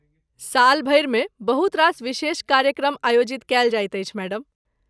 सालभरिमे बहुत रास विशेष कार्यक्रम आयोजित कएल जाइत अछि, मैडम।